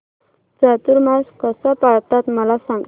चातुर्मास कसा पाळतात मला सांग